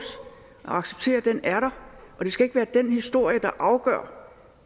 acceptere at den er der det skal ikke være den historie der afgør